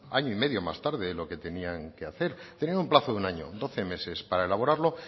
año y medio más tarde de lo que tenían que hacer tenían un plazo de un año doce meses para elaborarlo